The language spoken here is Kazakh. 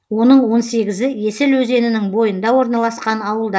оның он сегізіі есіл өзенінің бойында орналасқан ауылдар